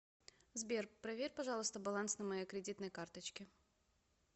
сбер проверь пожалуйста баланс на моей кредитной карточке